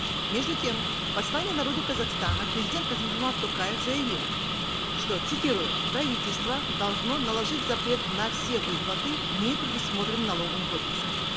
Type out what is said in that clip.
между тем в послании народу казахстана президент касым жомарт токаев заявил что цитирую правительство должно наложить запрет на все выплаты не предусмотренные налоговым кодексом